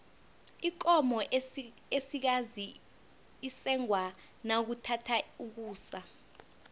ikomo esikazi isengwa nakuthatha ukusa